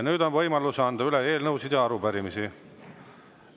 Nüüd on võimalus anda üle eelnõusid ja arupärimisi.